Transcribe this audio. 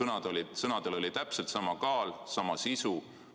Tema sõnadel oli täpselt sama kaal, sama sisu.